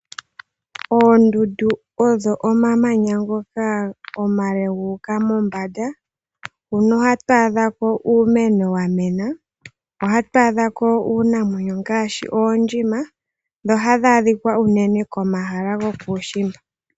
Oondundu odho omamanya ngoka omale guuka mombanda . Ohatu adhako uumeno wamena , ohatu adhako uunamwenyo ngaashi oondjima . Dho ohadhi adhikwa unene komahala gokuushimba.